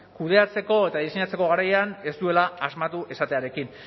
kudeatzeko eta diseinatzeko garaian ez duela asmatu esatearekin